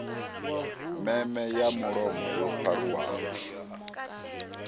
meme ya mulomo yo pharuwaho